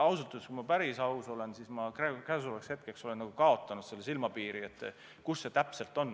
Kui ma päris aus olen, siis pean tunnistama, et ma olen nagu kaotanud selge silmapiiri, kuidas sellega täpselt on.